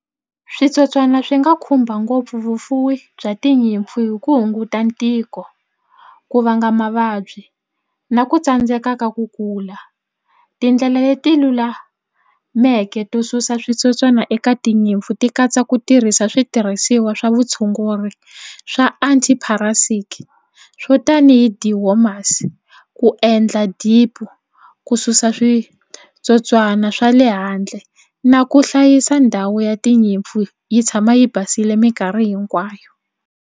Switsotswana swi nga khumba ngopfu vufuwi bya tinyimpfu hi ku hunguta ntiko ku vanga mavabyi na ku tsandzeka ka ku kula. Tindlela leti lulameke to susa switsotswana eka tinyimpfu ti katsa ku tirhisa switirhisiwa swa vutshunguri swa swo tanihi ku endla dip ku susa switsotswana swa le handle na ku hlayisa ndhawu ya tinyimpfu yi tshama yi basile mikarhi hinkwayo.